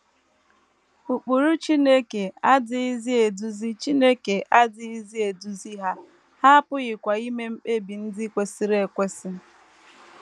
Ụkpụrụ Chineke adịghịzi eduzi Chineke adịghịzi eduzi ha, ha apụghịkwa ime mkpebi ndị kwesịrị ekwesị.